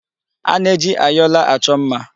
A na-eji ayọla achọ mma.